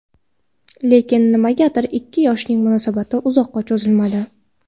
Lekin nimagadir ikki yoshning munosabati uzoqqa cho‘zilmadi.